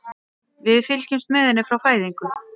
Við fylgjumst með henni frá fæðingu.